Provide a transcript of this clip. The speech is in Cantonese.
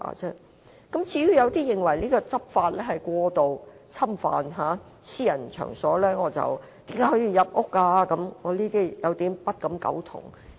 至於有人認為這樣執法是過度侵犯私隱，問為何可以入屋等私人場所，我對此不敢苟同。